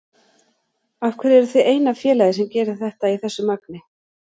Af hverju eruð þið eina félagið sem gerir þetta í þessu magni?